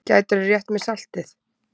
Gætirðu rétt mér saltið?